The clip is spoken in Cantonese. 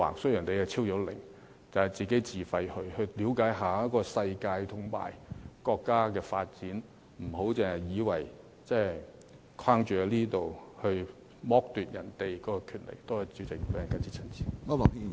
雖然你已超齡，但可以自費參加，了解一下世界和國家的發展，不要只局限在這裏，而剝奪別人的權利。